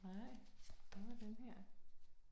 Nej, hvad med den her